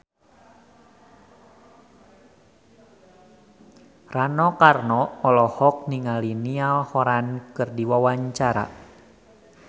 Rano Karno olohok ningali Niall Horran keur diwawancara